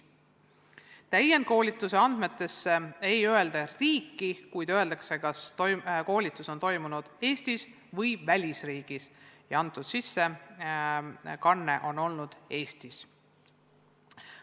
Täienduskoolituse andmetes ei öelda riiki, kuid öeldakse, kas koolitus on toimunud Eestis või välisriigis ja sellekohane sissekanne on olnud Eestis.